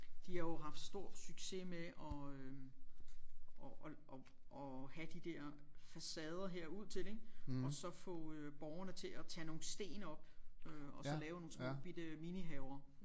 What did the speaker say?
De har jo haft stor succes med at øh at at at at have de der facader her ud til og så få øh borgerne til at tage nogle sten op øh og så lave nogle små bitte minihaver